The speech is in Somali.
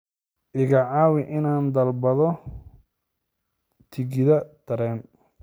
iga caawi inaan dalbado tigidh tareen